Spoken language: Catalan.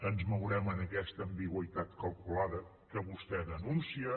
ens mourem en aquesta ambigüitat calculada que vostè denuncia